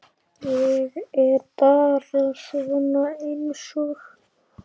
Ég er bara svona einsog.